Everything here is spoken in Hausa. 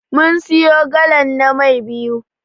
Mun siyo galan na Mai biyu.